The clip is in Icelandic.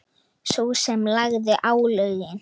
Sú sem lagði álögin?